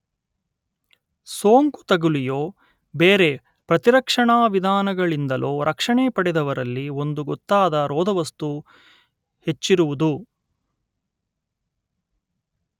ಸೋಂಕು ತಗುಲಿಯೋ ಬೇರೆ ಪ್ರತಿರಕ್ಷಣಾವಿಧಾನಗಳಿಂದಲೋ ರಕ್ಷಣೆ ಪಡೆದವರಲ್ಲಿ ಒಂದು ಗೊತ್ತಾದ ರೋಧವಸ್ತು ಹೆಚ್ಚಿರುವುದು